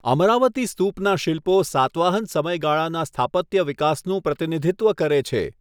અમરાવતી સ્તૂપના શિલ્પો સાતવાહન સમયગાળાના સ્થાપત્ય વિકાસનું પ્રતિનિધિત્વ કરે છે.